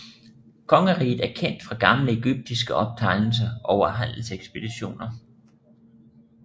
Kongeriget er kendt fra gamle egyptiske optegnelser over handelekspeditioner